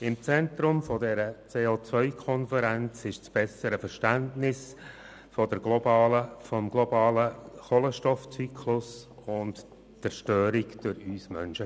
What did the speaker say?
Im Zentrum der CO-Konferenz standen das bessere Verständnis des globalen Kohlenstoffzyklus und die Zerstörung durch uns Menschen.